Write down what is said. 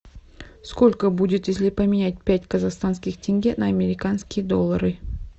сколько будет если поменять пять казахстанских тенге на американские доллары